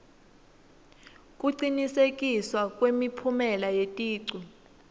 kucinisekiswa kwemiphumela yeticu